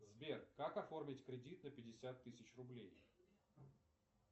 сбер как оформить кредит на пятьдесят тысяч рублей